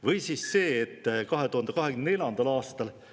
Või siis see, et 2024. aastal …